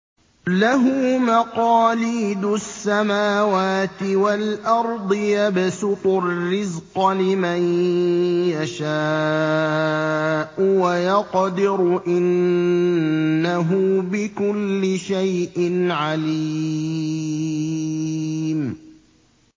لَهُ مَقَالِيدُ السَّمَاوَاتِ وَالْأَرْضِ ۖ يَبْسُطُ الرِّزْقَ لِمَن يَشَاءُ وَيَقْدِرُ ۚ إِنَّهُ بِكُلِّ شَيْءٍ عَلِيمٌ